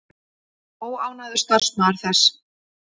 Óánægður starfsmaður þess